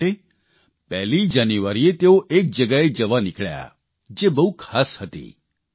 એટલા માટે 1લી જાન્યુઆરીએ તેઓ એક જગ્યાએ જવા નીકળ્યાં જે બહુ ખાસ હતી